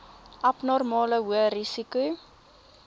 abnormale hoë risiko